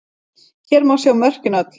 Hér má sjá mörkin öll.